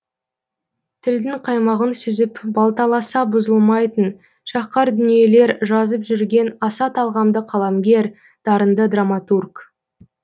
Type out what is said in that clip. тілдің қаймағын сүзіп балталаса бұзылмайтын шаһқар дүниелер жазып жүрген аса талғамды қаламгер дарынды драматург